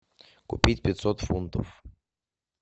купить пятьсот фунтов